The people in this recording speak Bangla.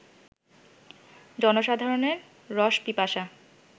জনসাধারণের রসপিপাসা